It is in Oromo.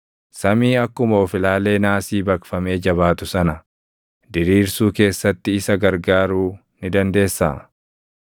samii akkuma of-ilaalee naasii baqfamee jabaatu sana diriirsuu keessatti isa gargaaruu ni dandeessaa?